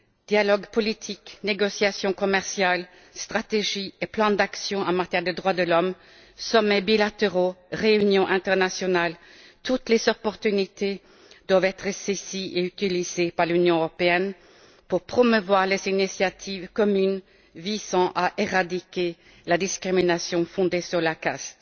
Dialogues politiques, négociations commerciales, stratégies et plans d'action en matière de droits de l'homme, sommets bilatéraux, réunions internationales, toutes les opportunités doivent être saisies et utilisées par l'Union européenne pour promouvoir les initiatives communes visant à éradiquer la discrimination fondée sur la caste.